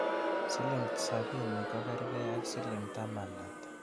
Siling' sapini kogerge ak siling' taman ata